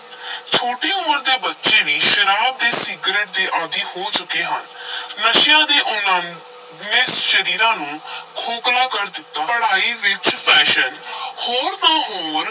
ਛੋਟੀ ਉਮਰ ਦੇ ਬੱਚੇ ਵੀ ਸ਼ਰਾਬ ਤੇ ਸਿਗਰਟ ਦੇ ਆਦੀ ਹੋ ਚੁੱਕੇ ਹਨ ਨਸ਼ਿਆਂ ਦੇ ਉਨ੍ਹਾਂ ਨੂੰ, ਨੇ ਸਰੀਰਾਂ ਨੂੰ ਖੋਖਲਾ ਕਰ ਦਿੱਤਾ, ਪੜਾਈ ਵਿਚ fashion ਹੋਰ ਤਾਂ ਹੋਰ,